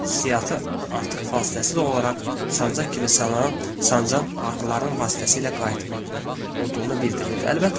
Hissiyatı artıq fasiləsiz olaraq sancaq kimi sallanan, sancan ağrıların vasitəsilə qayıtmaqda olduğunu bildirirdi.